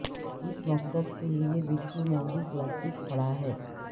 اس مقصد کے لئے بالکل موزوں پلاسٹک کھڑا ہے